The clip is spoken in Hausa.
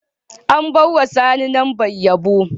An ba ma sani Lambar Yano.